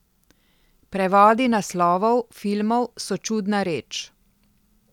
Prevodi naslovov filmov so čudna reč.